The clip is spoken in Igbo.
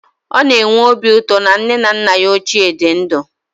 Ọ na-enwe obi ụtọ na nne na nna ya ochie dị ndụ